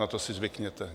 Na to si zvykněte.